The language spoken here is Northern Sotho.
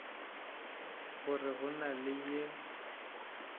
gore go na le yo